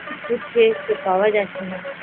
খুঁজছে সে পাওয়া যাচ্ছেনা